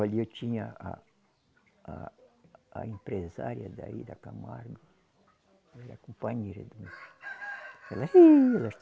Olhe eu tinha a a a empresária daí da Camargo, era companheira